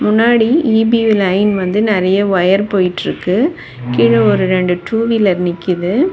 முன்னாடி E B line வந்து நெறைய வயர் போயிட்டுருக்கு. கீழ ஒரு ரெண்டு டூ வீலர் நிக்குது.